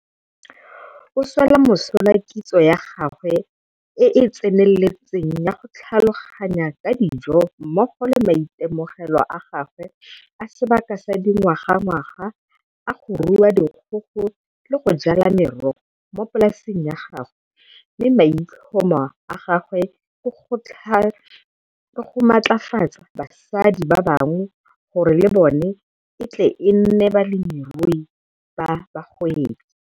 O swela mosola kitso ya gagwe e e tseneletseng ya go tlhaloganya ka dijo mmogo le maitemogelo a gagwe a sebaka sa dingwagangwaga a go rua dikgogo le go jala merogo mo polaseng ya gagwe mme maitlhomo a gagwe ke go matlafatsa basadi ba bangwe gore le bona e tle e nne balemirui ba bagwebi.